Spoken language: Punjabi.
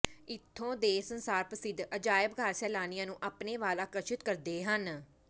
ਇੱਥੋਂ ਦੇ ਸੰਸਾਰ ਪ੍ਰਸਿੱਧ ਅਜਾਇਬਘਰ ਸੈਲਾਨੀਆਂ ਨੂੰ ਆਪਣੇ ਵੱਲ ਆਕਰਸ਼ਿਤ ਕਰਦੇ ਹਨ